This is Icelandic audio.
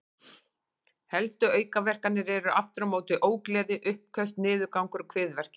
Helstu aukaverkanir eru aftur á móti ógleði, uppköst, niðurgangur og kviðverkir.